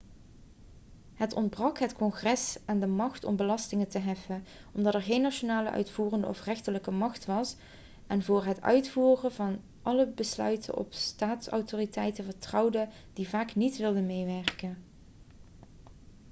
het ontbrak het congres aan de macht om belastingen te heffen omdat er geen nationale uitvoerende of rechterlijke macht was en voor het uitvoeren van alle besluiten op staatsautoriteiten vertrouwde die vaak niet wilden meewerken